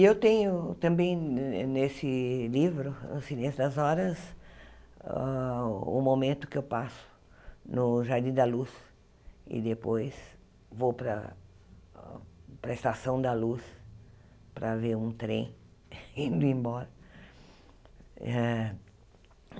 E eu tenho também ne nesse livro, O Silêncio das Horas, hã o momento que eu passo no Jardim da Luz e depois vou para para a Estação da Luz para ver um trem indo embora. Eh